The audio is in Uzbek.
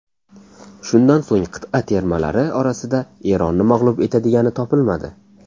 Shundan so‘ng qit’a termalari orasida Eronni mag‘lub etadigani topilmadi.